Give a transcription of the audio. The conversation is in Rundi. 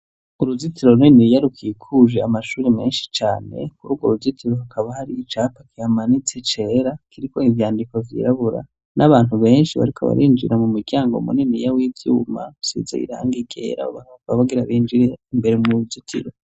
Uruzitiro runene iya rukikuje amashuri menshi cane kuri urwo uruzitiro hakaba hari icapa kihamanitse cera kiriko ivyandiko vyirabura n'abantu benshi bariko abarinjira mu muryango muneni yawe ivyuma sibizabirangikera bbakakokbabagira binjire imbere mu ruzitiro.